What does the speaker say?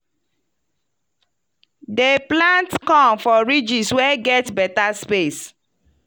dem plant corn for ridges wey get better space.